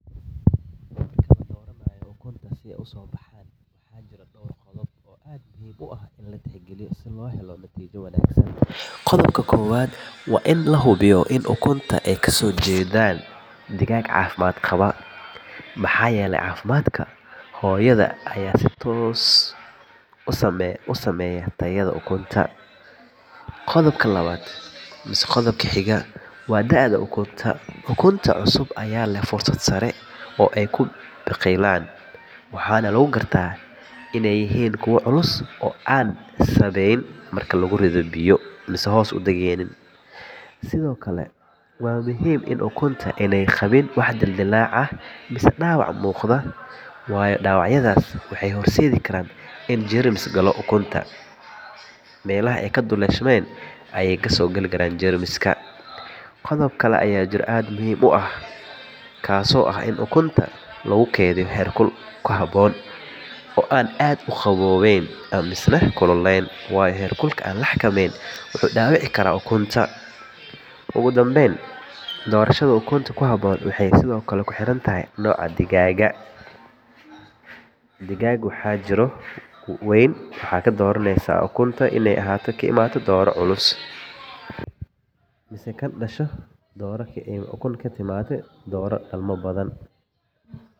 Marka la dooranayo ukunta si ay u soo baxaan, waxaa jira dhowr qodob oo aad muhiim u ah in la tixgeliyo si loo helo natiijo wanaagsan. Qodobka ugu horreeya waa in la hubiyo in ukunta ay kasoo jeedaan digaag caafimaad qaba, maxaa yeelay caafimaadka hooyada ayaa si toos ah u saameeya tayada ukunta. Qodobka labaad waa da’da ukunta, ukunta cusub ayaa leh fursad sare oo ay ku biqilaan, waxaana lagu gartaa inay yihiin kuwo culus oo aan sabbayn marka lagu riddo biyo. Sidoo kale waa muhiim in ukunta aanay qabin wax dildillaac ah ama dhaawac muuqda, waayo dhaawacyadaas waxay horseedi karaan in jeermis galo ukunta, taasoo baabi’in karta embriyaha. Qodob kale oo muhiim ah waa in ukunta lagu kaydiyo heerkul ku habboon, oo aan aad u qaboweyn ama u kululeyn, waayo heerkul aan la xakameyn wuxuu dhaawici karaa ukunta. Ugu dambeyn, doorashada ukunta ku habboon waxay sidoo kale ku xiran tahay nooca digaagga aad rabto in aad kori, tusaale ahaan haddii aad rabto digaag dhasha, waxaad dooran ukumo ka yimid nooc dhal badan, haddii aad rabto digaag hilib leh, waxaad dooran ukunta kasoo jeeda digaag weyn oo culus. Haddii aad qodobadan tixgeliso, fursadda ah in ukuntaadu si fiican u soo baxaan ayaa aad u sarreyn doonta.